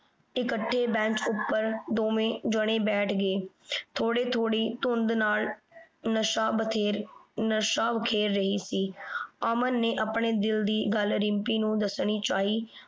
ਇਕੱਠੇ bench ਉਪਰ ਦੋਵੇਂ ਜਣੇ ਬੈਂਠ ਗਏ। ਥੋੜੀ ਥੋੜੀ ਧੁੰਦ ਨਾਲ ਨਸ਼ਾ ਬਥੇਰ ਨਸ਼ਾ ਬਖੇਰ ਰਹੀ ਸੀ। ਅਮਨ ਨੇ ਆਪਣੇ ਦਿਲ ਦੀ ਗੱਲ ਰਿੰਪੀ ਨੂੰ ਦੱਸਣੀ ਚਾਹੀ